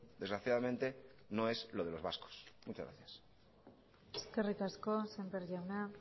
desgraciadamente no es lo de los vascos muchas gracias eskerrik asko sémper jauna